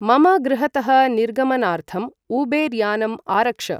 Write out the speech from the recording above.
मम गृहतः निर्गमनार्थं उबेर् यानम् आरक्ष